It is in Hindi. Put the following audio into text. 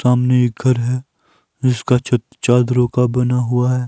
सामने एक घर है जिसका छत चादरों का बना हुआ है।